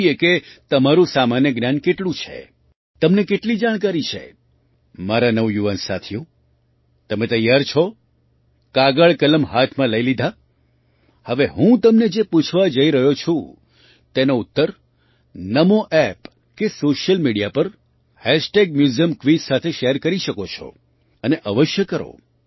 જોઈએ કે તમારું સામાન્ય જ્ઞાન કેટલું છે તમને કેટલી જાણકારી છે મારા નવયુવાન સાથીઓ તમે તૈયાર છો કાગળ કલમ હાથમાં લઈ લીધાં હવે હું તમને જે પૂછવા જઈ રહ્યો છું તેનો ઉત્તર નામો App કે સૉશિયલ મિડિયા પર મ્યુઝિયમક્વિઝ સાથે શૅર કરી શકો છો અને અવશ્ય કરો